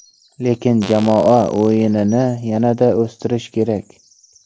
Lekin jamoa o‘yinini yanada o‘stirish kerak.